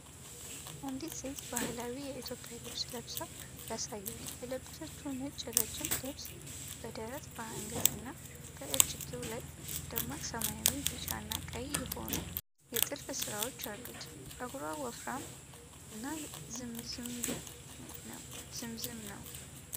አንዲት ሴት ባህላዊ የኢትዮጵያ ልብስ ለብሳ ያሳያል። የለበሰችው ነጭ ረዥም ልብስ በደረት፣ በአንገት እና በእጅጌው ላይ ደማቅ ሰማያዊ፣ ቢጫ እና ቀይ የሆኑ የጥልፍ ስራዎች አሉት። ፀጉሯ ወፈራም እና ጥምዝምዝ ነው።